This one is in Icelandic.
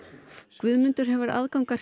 Guðmundur hefur aðgang að